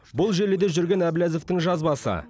бұл желіде жүрген әблязовтың жазбасы